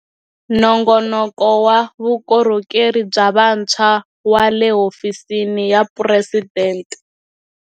Nongonoko wa Vukorhokeri bya Vantshwa wa le Hofisini ya Phuresidente.